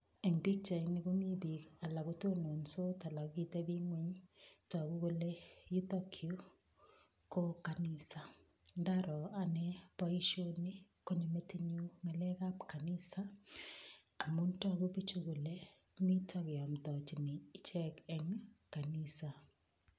Eng pichaini komi piik alak ko tonontos alak kokitebing'weny. Togu kole yutokyu ko kamisa, ndaro ane boishoni konyo metinyu ng'alekab kanisa, amun togu piichu kole mito keamtochini ichek eng kanisa.